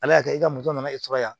Ala y'a kɛ e ka moto nana ne sɔrɔ yan